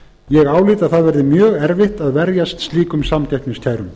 ég álít að það verði mjög erfitt að verjast slíkum samkeppniskærum